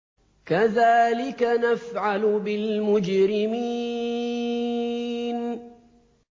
كَذَٰلِكَ نَفْعَلُ بِالْمُجْرِمِينَ